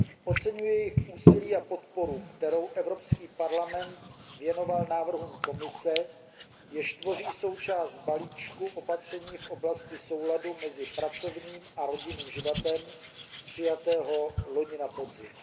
Oceňuji jejich úsilí a podporu, kterou Evropský parlament věnoval návrhům Komise, jež tvoří součást balíčku opatření v oblasti souladu mezi pracovním a rodinným životem přijatého loni na podzim.